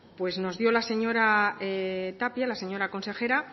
nos dio la señora tapia la señora consejera